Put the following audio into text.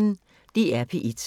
DR P1